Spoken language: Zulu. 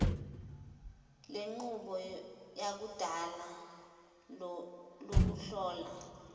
lenqubo yakudala lokuhlola